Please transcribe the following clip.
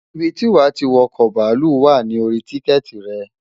Ibi tí wà tí wo̩kò̩ bàálù wà ní orí tíkè̩tì re̩.